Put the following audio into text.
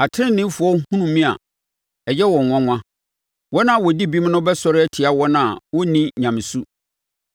Ateneneefoɔ hunu me a, ɛyɛ wɔn nwanwa. Wɔn a wɔdi bem no bɛsɔre atia wɔn a wɔnni nyamesu.